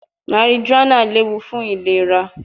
Marijuana lewu fun ilera